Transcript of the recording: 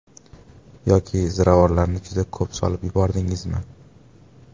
Yoki ziravorlarni juda ko‘p solib yubordingizmi?